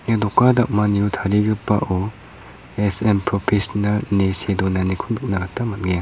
ia doka dam·anio tarigipao S_M propesinal ine see donaniko nikna gita man·enga.